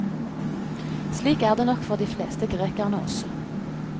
Slik er det nok for de fleste grekerne også.